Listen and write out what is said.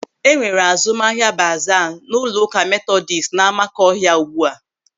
E nwere azụmahịa baaza n'ụlọụka Metodis n'Amakọhia ugbu a.